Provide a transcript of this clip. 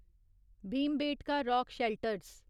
Bhimbetka rock shelters